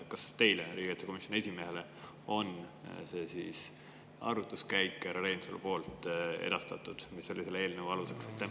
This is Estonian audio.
Kas teile, riigikaitsekomisjoni esimehele, on härra Reinsalu poolt edastatud see arvutuskäik, mis oli selle eelnõu aluseks?